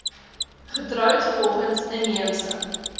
getroud volgens inheemse